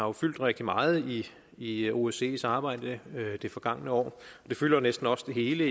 har fyldt rigtig meget i i osces arbejde det forgangne år det fylder næsten også hele